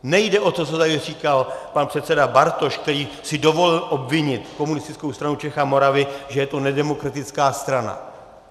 Nejde o to, co tady říkal pan předseda Bartoš, který si dovolil obvinit Komunistickou stranu Čech a Moravy, že je to nedemokratická strana.